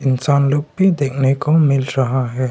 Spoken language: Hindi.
इंसान लोग भी देखने को मिल रहा है।